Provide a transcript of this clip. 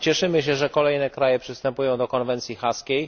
Cieszymy się, że kolejne kraje przystępują do konwencji haskiej.